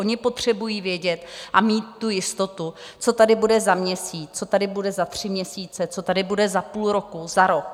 Oni potřebují vědět a mít tu jistotu, co tady bude za měsíc, co tady bude za tři měsíce, co tady bude za půl roku, za rok.